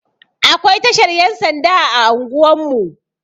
Akwai tashar Yan sanda a anguwan mu.